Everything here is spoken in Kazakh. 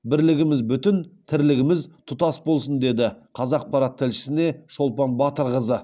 бірлігіміз бүтін тірлігіміз тұтас болсын деді қазақпарат тілшісіне шолпан батырқызы